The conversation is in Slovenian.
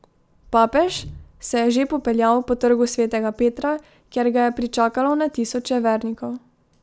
Papež se je že popeljal po Trgu svetega Petra, kjer ga je pričakalo na tisoče vernikov.